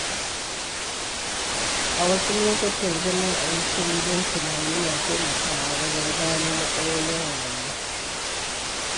A wasu lokutan, zama a yi shiru don tunani na taimakawa wajen gano matsalolin rayuwa.